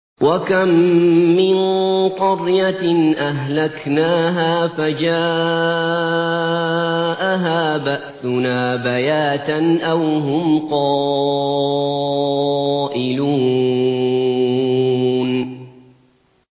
وَكَم مِّن قَرْيَةٍ أَهْلَكْنَاهَا فَجَاءَهَا بَأْسُنَا بَيَاتًا أَوْ هُمْ قَائِلُونَ